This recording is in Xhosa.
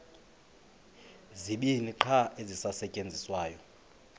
zibini qha ezisasetyenziswayo